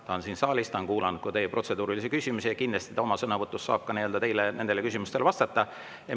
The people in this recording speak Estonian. Ta on siin saalis, ta on kuulanud protseduurilisi küsimusi ja kindlasti ta oma sõnavõtus saab ka teie küsimustele vastata.